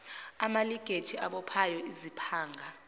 amalinkeji abophayo iziphanga